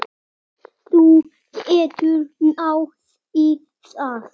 Þú getur náð í það.